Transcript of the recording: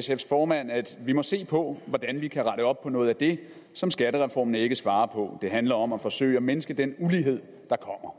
sfs formand at vi må se på hvordan vi kan rette op på noget af det som skattereformen ikke svarer på og det handler om at forsøge at mindske den ulighed der kommer